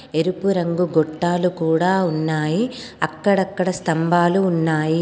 ఎరుపు రంగు గొట్టాలు కుడా ఉన్నాయి. అక్కడక్కడ స్తంభాలు ఉన్నాయి.